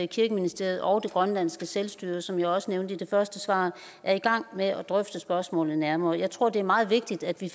kirkeministeriet og grønlands selvstyre som jeg også nævnte i det første svar er i gang med at drøfte spørgsmålet nærmere jeg tror det er meget vigtigt at vi